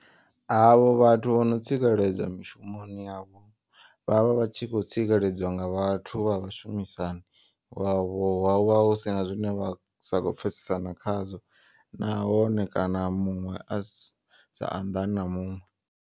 A vho vhathu vhono tsikeledzwa mishumoni yavho vhavha vhatshi kho tsikeledziwa nga vhathu vha vhashumisani. Vhavho huvha husina zwine vha sa kho pfhesesana khazwo nahone kana muṅwe a si sa anḓani na muṅwe.